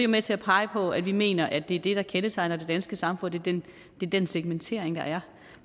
med til at pege på at vi mener at det der kendetegner det danske samfund er den segmentering der er